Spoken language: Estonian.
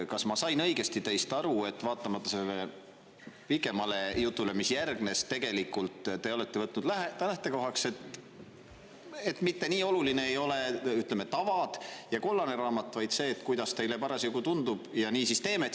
Kas ma sain õigesti teist aru, et vaatamata pikemale jutule, mis järgnes, olete te tegelikult võtnud lähtekohaks selle, ütleme, et tava ja kollane raamat ei ole nii olulised, vaid see, kuidas teile parasjagu tundub, ja nii teeme?